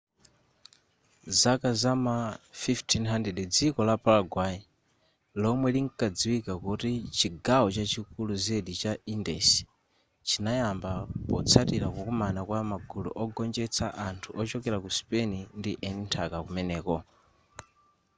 nzaka za ma 1500 dziko la paraguay lomwe linkadziwika kuti chigawo chachikulu zedi cha indies chinayamba potsatila kukumana kwa magulu ogonjetsa anthu ochokela ku spain ndi eni nthaka kumeneko